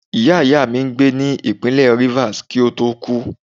Ìyá ìyá mi n gbè ni ipinle rivers, ki o to ku.